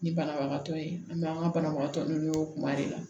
Ni banabagatɔ ye an bɛ an ka banabagatɔ n'olu kuma de la